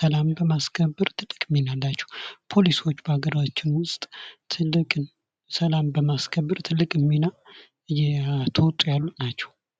ሰላም በማስከበር ትልቅ ሚና አላቸው ፖሊሶች በሀገራችን ውስጥ ሰላም በማስከበር ትልቅ ሚና እየተወጡ ያሉ ናቸው።